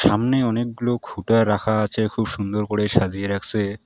সামনে অনেকগুলো খুঁটা রাখা আছে খুব সুন্দর করে সাজিয়ে রাখছে।